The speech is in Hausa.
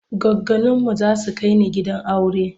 Goggoninmu za su kai ni gidan aure.